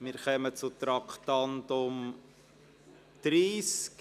Wir kommen zum Traktandum 30, «Finanz- und Rechnungswesen im Kanton Bern vereinfachen: